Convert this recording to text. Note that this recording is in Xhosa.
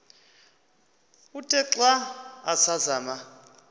uthe xa asazama